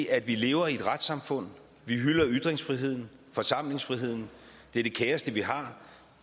at vi lever i et retssamfund at vi hylder ytringsfriheden forsamlingsfriheden det er det kæreste vi har